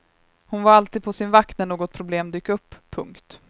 Hon var alltid på sin vakt när något problem dök upp. punkt